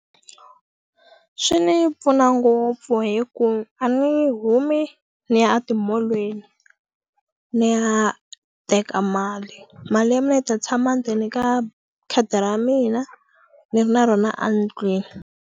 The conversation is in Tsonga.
Swi ni pfuna ngopfu hi ku a ni humi ni ya a timolweni ni ya teka mali mali ya mina yi ta tshama ndzeni ka khadi ra mina ni ri na rona a ndlwini.